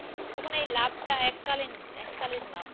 তখন এই লাভ তা এককালীন এককালীন লাভ।